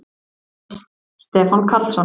Heimild: Stefán Karlsson.